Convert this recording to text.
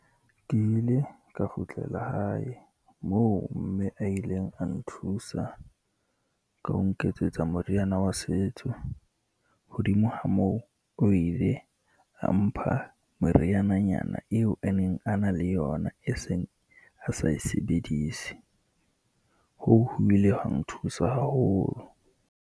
Ke ile ka kgutlela hae, moo mme a ileng a nthusa ka ho nketsetsa moriana wa setso, hodimo ha moo o ile a mpha moriananyana eo a neng a na le yona, e seng a sa e sebedise. Hoo ho ile hwa nthusa haholo.